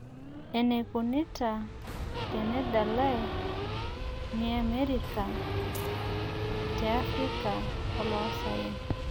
Enekuinita tenedalai miereka te africa eloosaen